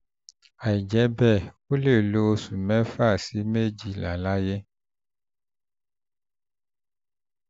àìjẹ́ bẹ́ẹ̀ ó lè lo oṣù mẹ́fà sí méjìlá láyé